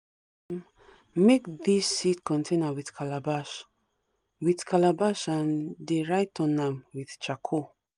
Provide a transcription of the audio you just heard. make dis seed container with calabash with calabash and dey write on am with charcoal